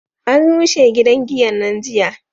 an rushe gidan giyan nan jiya